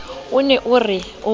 o ne o re o